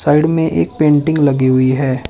Side में एक painting लगी हुई है।